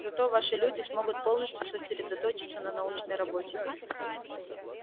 зато ваши люди смогут полностью сосредоточиться на научной работе